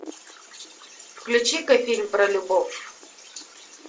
включи ка фильм про любовь